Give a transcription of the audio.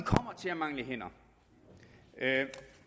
kommer til at mangle hænder